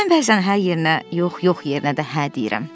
Mən bəzən hə yerinə yox, yox yerinə də hə deyirəm.